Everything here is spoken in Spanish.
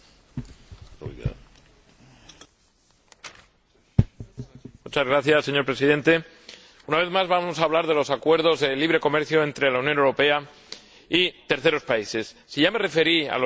Señor Presidente, una vez más vamos a hablar de los acuerdos de libre comercio entre la Unión Europea y terceros países. Si ya me referí a los acuerdos con Colombia y Perú, con enorme daño para el plátano de Canarias, hoy quiero hablar de Marruecos.